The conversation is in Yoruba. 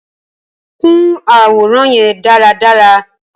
Kun aworan yẹn daradara!